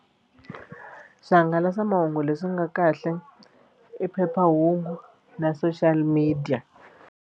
Swihangalasamahungu leswi nga kahle i phephahungu na social media.